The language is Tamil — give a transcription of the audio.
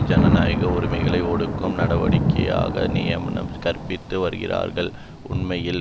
ஜனநாயக உரிமைகளை ஒடுக்கும் நடவடிக்கைகளுக்கு நியமம் கற்பித்து வருகிறார்கள் உண்மையில்